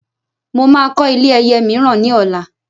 Mo máa kọ́ ilé ẹyẹ mìíràn ní ọ̀la